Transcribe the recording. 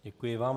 Děkuji vám.